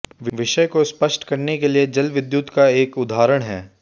विषय को स्पष्ट करने के लिये जल विद्युत का एक उदाहरण है